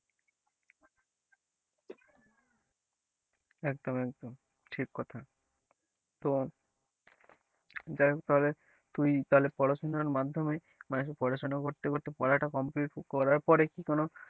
একদম একদম ঠিক কথা তো, যাই হোক তাহলে তুই তাহলে পড়াশোনার মাধ্যমে মানে কি পড়াশোনা করতে করতে পড়াটা complete করার পরে কি,